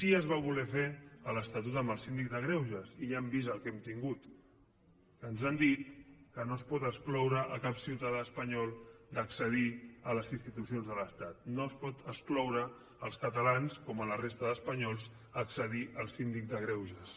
sí que es va voler fer a l’estatut amb el síndic de greuges i ja hem vist el que hem tingut ens han dit que no es pot excloure cap ciutadà espanyol d’accedir a les institucions de l’estat no es poden excloure els catalans com la resta d’espanyols d’accedir al síndic de greuges